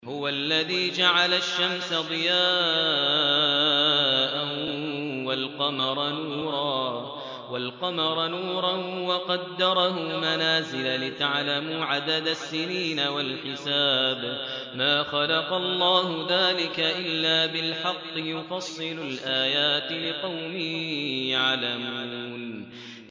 هُوَ الَّذِي جَعَلَ الشَّمْسَ ضِيَاءً وَالْقَمَرَ نُورًا وَقَدَّرَهُ مَنَازِلَ لِتَعْلَمُوا عَدَدَ السِّنِينَ وَالْحِسَابَ ۚ مَا خَلَقَ اللَّهُ ذَٰلِكَ إِلَّا بِالْحَقِّ ۚ يُفَصِّلُ الْآيَاتِ لِقَوْمٍ يَعْلَمُونَ